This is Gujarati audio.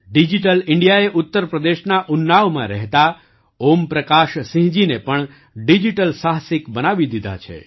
ડિજિટલ ઇન્ડિયાએ ઉત્તર પ્રદેશના ઉન્નાવમાં રહેતા ઓમપ્રકાશસિંહજીને પણ ડિજિટલ સાહસિક બનાવી દીધા છે